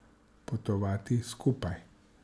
Potovati skupaj.